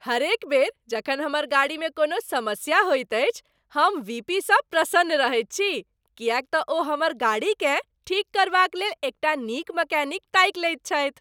हरेक बेर जखन हमर गाड़ीमे कोनो समस्या होइत अछि, हम वीपीसँ प्रसन्न रहैत छी किएक तँ ओ हमर गाड़ीकेँ ठीक करबाक लेल एकटा नीक मैकेनिक ताकि लेत छथि।